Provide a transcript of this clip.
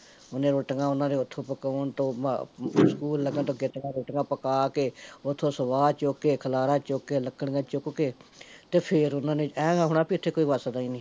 ਓਹਨੇ ਰੋਟੀ ਓਹਨਾਂ ਦੀਆ ਓਥੋਂ ਪਕਾਉਣ ਤੋਂ ਸਕੂਲ ਲੱਗਣ ਤੋਂ ਆਗੇਤੀਆ ਰੋਟੀਆਂ ਪਕਾ ਕੇ, ਓਥੋਂ ਸਵਾ ਚੁੱਕ ਕੇ, ਖਲਾਰਾਂ ਚੁੱਕ ਕੇ, ਲਕੜੀਆਂ ਚੁੱਕ ਕੇ, ਤੇ ਫੇਰ ਓਹਨਾਂ ਨੇ ਐ ਨੂੰ ਜਾਪਣਾ ਵੀ ਇੱਥੇ ਕੋਈ ਵਸਦਾ ਨੀ